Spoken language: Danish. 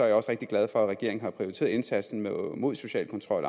jeg også rigtig glad for at regeringen har prioriteret indsatsen mod social kontrol